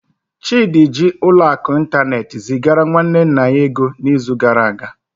Chidi jiri ụlọ akụ ịntanetị zigara nwanne nna ya ego n'izu gara aga.